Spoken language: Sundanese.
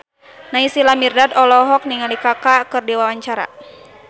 Naysila Mirdad olohok ningali Kaka keur diwawancara